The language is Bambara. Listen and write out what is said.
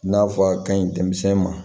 N'a fɔ a ka ɲi denmisɛn ma